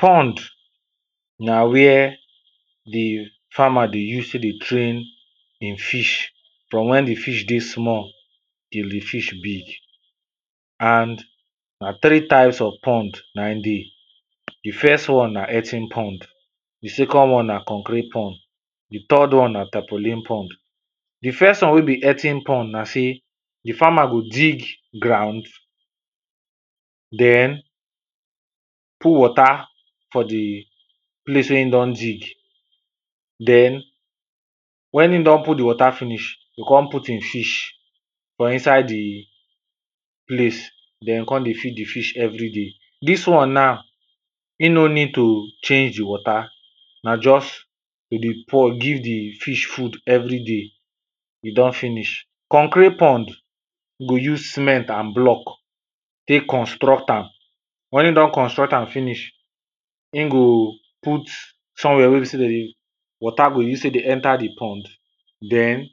Pond na where di farmer dey use take dey train im fish from wen di fish dey small, till di fish big. And na three types of pond na im dey, di first one na earthen pond, di second one na concrete pond, di third one na tapolene pond. Di first one wen be earthen pond na sey, di farmer go dig ground, den put water for di place wen im don dig, den wen im don put di water finish, im go come put di fish for inside di place den come dey feed di fish every day, dis one na e no need to change di water, na just to dey pour give di fish food every day, e don finish. Concrete pond go use cement and block take construct am, wen im dom construct am finish, im go put somewhere wey be sey dem dey water go use take dey enter di pond den